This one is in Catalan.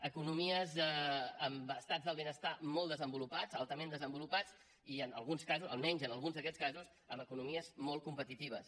economies amb estats del benestar molt desenvolupats altament desenvolupats i en alguns casos almenys en alguns d’aquests casos amb economies molt competitives